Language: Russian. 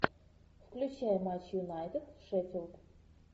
включай матч юнайтед шеффилд